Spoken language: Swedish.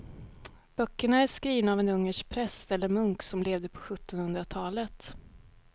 Böckerna är skrivna av en ungersk präst eller munk som levde på sjuttonhundratalet.